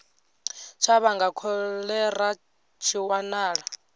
tsha vhanga kholera tshi wanala